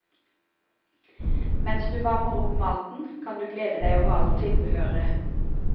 Mens du varmer opp maten, kan du glede deg over alt tilbehøret.